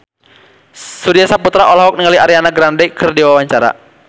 Surya Saputra olohok ningali Ariana Grande keur diwawancara